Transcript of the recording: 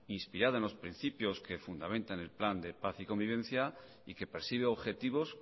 inspirada en los principios que fundamentan el plan de paz y convivencia y que persigue objetivos